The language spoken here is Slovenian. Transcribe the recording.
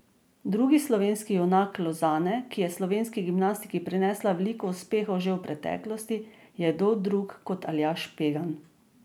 Drugi slovenski junak Lozane, ki je slovenski gimnastiki prinesla veliko uspeha že v preteklosti, je kdo drug kot Aljaž Pegan.